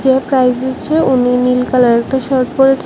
যে প্রাইজ দিচ্ছে উনি নীল কালার একটা শার্ট পরেছে।